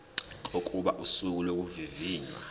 kokuba usuku lokuvivinywa